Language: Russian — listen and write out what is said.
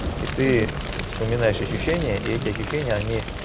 и ты вспоминаешь ощущения и эти ощущения они